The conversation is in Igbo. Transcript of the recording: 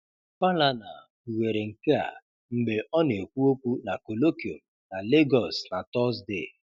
Falana kpughere nke a mgbe ọ na-ekwu okwu na colloquium na Lagos na Tọzdee.